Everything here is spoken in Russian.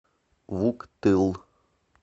вуктыл